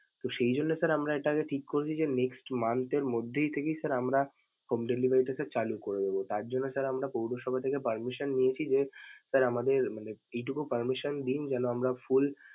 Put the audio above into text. তো সেই জন্যে sir আমরা এটাকে ঠিক করছি যে next month এর মধ্যেই থেকেই sir আমরা home delivery টা sir চালু করব. তার জন্য sir আমরা পৌরসভা থেকে permission নিয়েছি যে sir আমাদের মানে এইটুকু permission দিন যেনো আমরা full ।